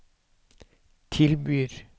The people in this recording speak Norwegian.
tilbyr